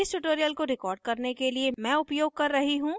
इस tutorial को record करने के लिए मैं उपयोग कर रही हूँ